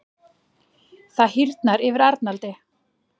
Það hýrnar yfir Arnaldi.